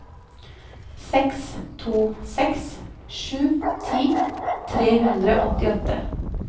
seks to seks sju ti tre hundre og åttiåtte